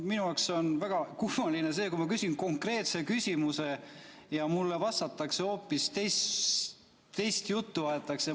Minu jaoks on väga kummaline, kui ma küsin konkreetse küsimuse ja mulle vastates hoopis teist juttu aetakse.